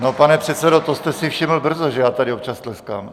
No, pane předsedo, to jste si všiml brzo, že já tady občas tleskám.